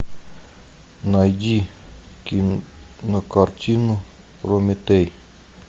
найди кинокартину прометей